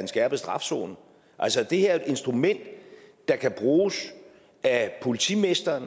en skærpet strafzone altså det her er et instrument der kan bruges af politimesteren